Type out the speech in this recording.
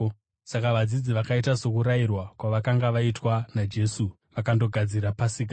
Saka vadzidzi vakaita sokurayirwa kwavakanga vaitwa naJesu vakandogadzira Pasika.